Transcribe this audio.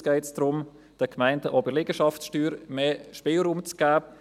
Jetzt geht es darum, den Gemeinden auch bei der Liegenschaftssteuer mehr Spielraum zu geben.